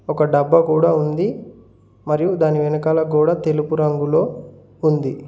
ఒక డబ్బా కూడా ఉంది మరియు దాని వెనకాల గోడ తెలుపు రంగులో ఉంది.